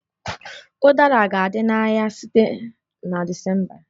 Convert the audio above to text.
Udara ga-adị n'ahịa site na Disemba